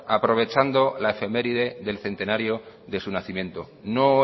aprovechando la efeméride del centenario de su nacimiento no